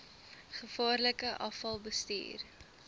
gevaarlike afval bestuur